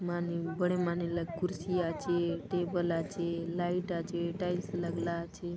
मानीम बड़े मानीला कुर्सीया आचे टेबला आचे लाइटा आचे टाइल्स लागला आचे।